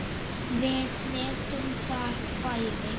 Við vitum það bæði.